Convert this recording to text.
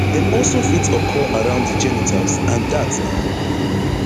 dem also fit occur around di genitals and dat na